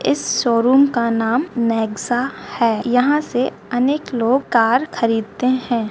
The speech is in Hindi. इस शोरूम का नाम नेक्सा है यहाँ से अनेक लोग कार खरीदते हैं।